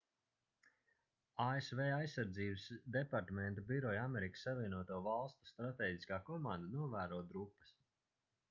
asv aizsardzības departamenta biroja amerikas savienoto valstu stratēģiskā komanda novēro drupas